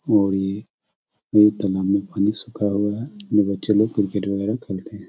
और ये तालाब में पानी सुखा हुआ है ये बच्चे लोग क्रिकेट वगैरा खेलते हैं।